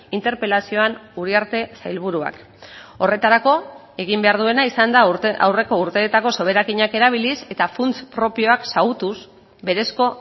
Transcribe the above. interpelazioan uriarte sailburuak horretarako egin behar duena izan da aurreko urteetako soberakinak erabiliz eta funts propioak xahutuz berezko